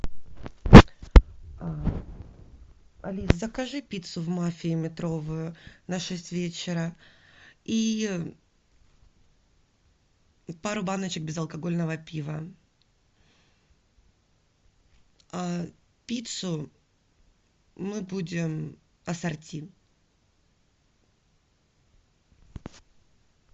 алиса закажи пиццу в мафии метровую на шесть вечера и пару баночек безалкогольного пива пиццу мы будем ассорти